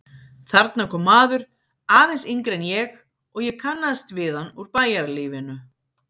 Þarna kom maður, aðeins yngri en ég, og ég kannaðist við hann úr bæjarlífinu.